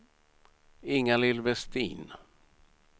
Ingalill Westin